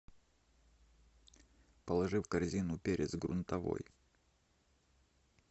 положи в корзину перец грунтовой